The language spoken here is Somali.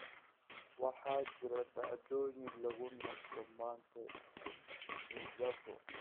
waxaa jira dhacdooyin lagu nasto maanta tsavo